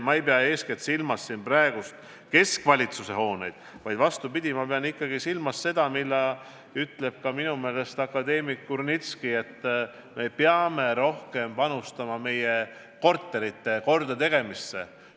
Ma ei pea eeskätt silmas keskvalitsuse hooneid, vaid vastupidi, ma pean silmas seda, mida on minu meelest öelnud ka akadeemik Kurnitski: me peame rohkem panustama meie korterite kordategemisse.